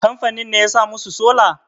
kamfanin ne ya sa musu sola?